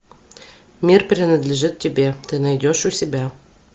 мир принадлежит тебе ты найдешь у себя